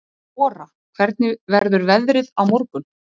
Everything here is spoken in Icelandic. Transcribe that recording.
Ora, hvernig verður veðrið á morgun?